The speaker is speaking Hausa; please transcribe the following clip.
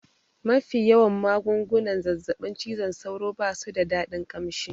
Mafi yawan magungunan zazzaɓin cizon sauro basu da dadin ƙamshi